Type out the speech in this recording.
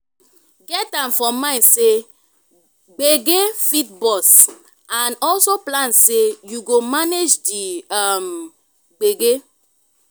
get am for mind sey gbege fit burst and also plan sey you go manage di um gbege